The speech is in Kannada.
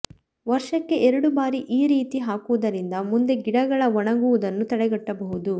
ವರ್ಷಕ್ಕೆ ಎರಡು ಬಾರಿ ಈ ರೀತಿ ಹಾಕುವುದರಿಂದ ಮುಂದೆ ಗಿಡಗಳ ಒಣಗುವುದನ್ನು ತಡೆಗಟ್ಟೆಬಹುದು